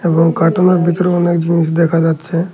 এবং কার্টনের ভিতরেও অনেক জিনিস দেখা যাচ্ছে।